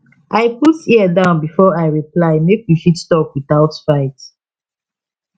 i put ear down before i reply make we fit talk without fight